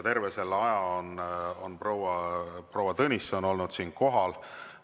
Terve selle aja on proua Tõnisson olnud siin kohal.